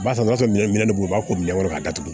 Barisa n'a sɔrɔ minɛn dɔ be yen u b'a ko minɛ wɛrɛ ka datugu